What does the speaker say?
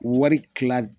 Wari kila